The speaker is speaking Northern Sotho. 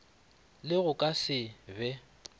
le go ka se be